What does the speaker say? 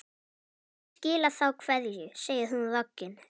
Ég skila þá kveðju, segir hún roggin.